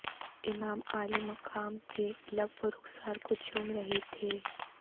امام عالی مقام کے لب و رخسار کو چوم رہی تھیں